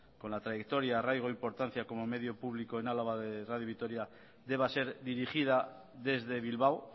con la trayectoria arraigo e importancia como medio público en álava de radio vitoria deba ser dirigida desde bilbao